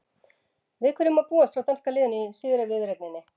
Við hverju má búast frá danska liðinu í síðari viðureigninni?